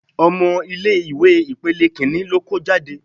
Ọmọ ilé ìwé ipele Kínní ló kó jáde.